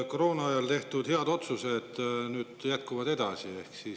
Koroona ajal tehtud head otsused nüüd edasi.